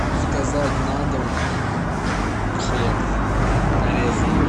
заказать на дом хлеб нарезанный